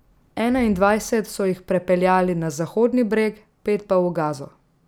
Enaindvajset so jih prepeljali na Zahodni breg, pet pa v Gazo.